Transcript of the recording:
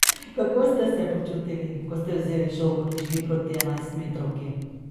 Kako ste se počutili, ko ste vzeli žogo in šli proti enajstmetrovki?